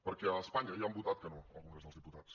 perquè a espanya ja han votat que no al congrés dels diputats